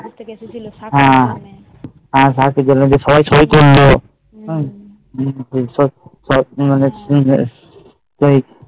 করে এসেছিলো সবাই আর সবাই সই করলো